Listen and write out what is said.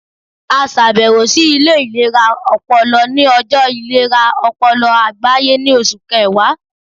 A ṣabẹwo si ile ilera ọpọlọ ni ọjọ ilera ọpọlọ agbaye ni Oṣu Kẹwa